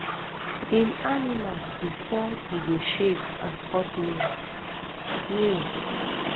im animal bifor e go shave and cut nails nails